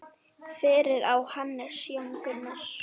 Fyrir á Hannes Jón Gunnar.